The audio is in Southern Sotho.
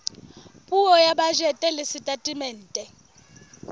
puo ya bajete le setatemente